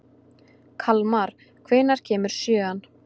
Kalmar, hvenær kemur sjöan?